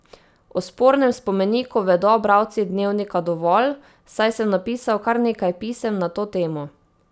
O spornem spomeniku vedo bralci Dnevnika dovolj, saj sem napisal kar nekaj pisem na to temo.